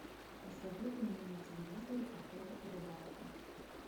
посоветуй мне на телевизоре охота и рыбалка